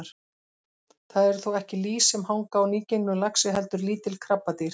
Það eru þó ekki lýs sem hanga á nýgengnum laxi heldur lítil krabbadýr.